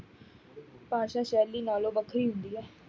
ਭਾਸ਼ਾ ਸ਼ੈਲੀ ਨਾਲੋਂ ਵੱਖਰੀ ਹੁੰਦੀ ਹੈ।